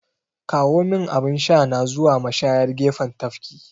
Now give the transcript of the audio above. Kawomin abin shana zuwa mashayar gefen tafki!